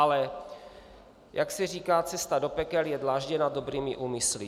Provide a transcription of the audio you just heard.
Ale jak se říká, cesta do pekel je dlážděna dobrými úmysly.